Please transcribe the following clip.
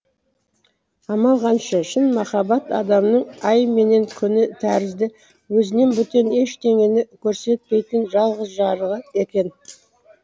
амал қанша шын махаббат адамның ай менен күні тәрізді өзінен бөтен ештеңені көрсетпейтін жалғыз жарығы екен